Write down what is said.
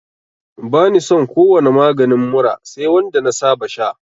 Bani son ko wani maganin mura sai wanda na saba sha